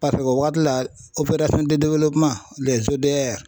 Paseke o waagati la